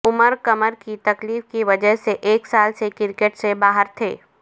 عمر کمر کی تکلیف کی وجہ سے ایک سال سے کرکٹ سے باہر تھے